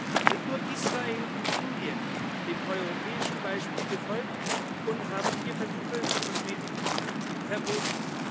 Bisher sind nur Israel und Indien dem europäischen Beispiel gefolgt und haben Tierversuche für Kosmetik verboten.